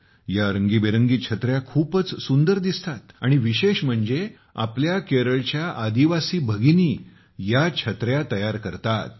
या रंगीबेरंगी छत्र्या खूपच सुंदर दिसतात आणि विशेष म्हणजे आपल्या केरळच्या आदिवासी भगिनी या छत्र्या तयार करतात